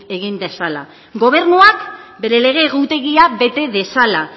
egin dezala gobernuak bere lege egutegia bete dezala